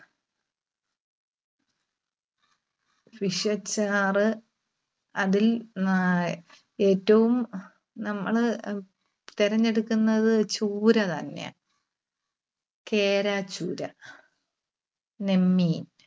fish അച്ചാർ. അതിൽ ആഹ് ഏറ്റവും നമ്മള് തിരഞ്ഞെടുക്കുന്നത് ചൂര തന്നെയാ. കേര, ചൂര, നെന്മീൻ,